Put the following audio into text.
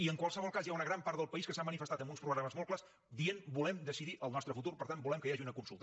i en qualsevol cas hi ha una gran part del país que s’ha manifestat amb uns programes molt clars dient volem decidir el nostre futur per tant volem que hi hagi una consulta